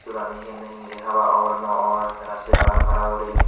sulani hihonne hingiri haba or no or tara se paron para guri.